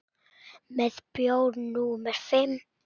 Með bjór númer fimm.